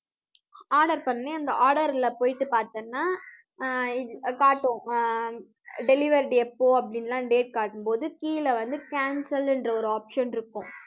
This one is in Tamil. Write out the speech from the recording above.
order பண்ணி, அந்த order ல போயிட்டு பார்த்தேன்னா ஆஹ் இது காட்டும் அஹ் delivered எப்போ அப்படின்னு எல்லாம் date காட்டும்போது கீழே வந்து cancel ன்ற ஒரு option இருக்கும்